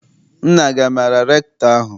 Nna gị amaara rektọ ahụ?